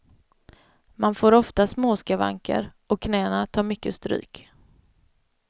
Man får ofta småskavanker, och knäna tar mycket stryk.